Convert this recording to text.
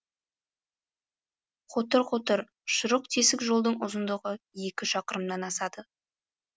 қотыр қотыр шұрық тесік жолдың ұзындығы екі шақырымнан асады